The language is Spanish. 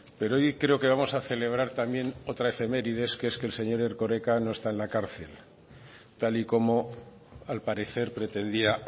pero hoy creo que vamos a celebrar también otra efeméride que es que el señor erkoreka no está en la cárcel tal y como al parecer pretendía